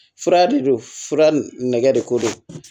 Fura de don fura nɛgɛ de ko don